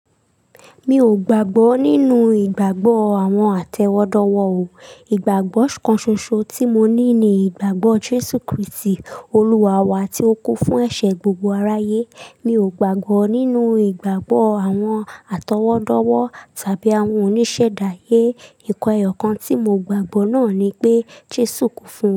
Mi ò gbàgbọ́ nínú ìgbàgbọ́ àwọn àtẹ́wọ́dọ́wọ́ o. Ìgbàgbọ́ kan ṣoṣo tí mo ní ni ìgbàgbọ́ Jésù Kristi, Olúwa wa tí ó kú fún ẹ̀ṣẹ̀ gbogbo aráyé. Mi ò gbàgbọ́ nínú ìgbàgbọ́ àwọn àtọwọ́dọ́wọ́ tàbí àwọn oníṣẹ̀dáyé. Ìkan eyọ̀kan tí mo gbàgbọ́ náà ni pé Jésù kú fún.